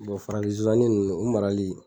farafin zsosani nunnu u marali